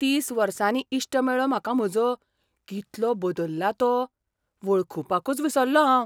तीस वर्सांनी इश्ट मेळ्ळो म्हाका म्हजो, कितलो बदल्ला तो, वळखुपाकूच विसल्लों हांव.